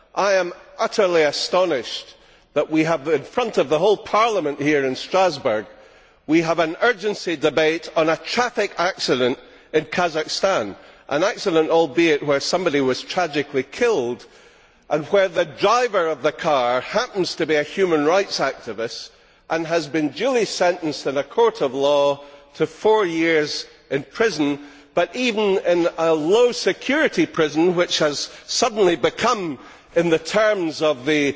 I am utterly astonished that, in front of the whole Parliament here in Strasbourg, we are having an urgent debate on a traffic accident in Kazakhstan, albeit an accident where somebody was tragically killed and where the driver of the car happens to a human rights activist who has been duly sentenced in a court of law to four years in prison but even in a low security prison, which has suddenly become, in the terms of the